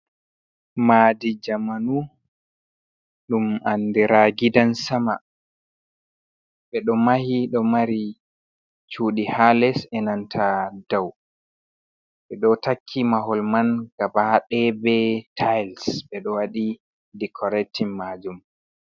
Madi jamanu ɗum andira gidan-sama. Ɓeɗo mahi ɗo mari cudi ha les e'nanta dou. Ɓedo takki mahol man gabadaya be tiles. Ɓedo waɗi decoratin majum.